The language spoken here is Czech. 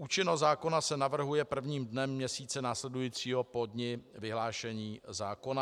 Účinnost zákona se navrhuje prvním dnem měsíce následujícího po dni vyhlášení zákona.